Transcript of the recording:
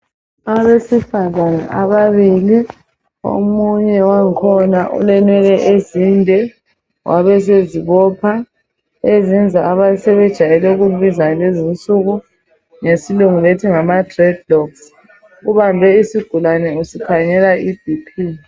Abesifazana ababili omunye wakhona ulenwele ezinde wabesezibopha ezenza abasebejwayele ukukubiza ngalezi nsuku ngesilungu bethi ngama dreadlocks ubambe isigulane esikhangela iBp.